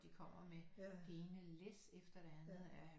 De kommer med det ene læs efter det andet af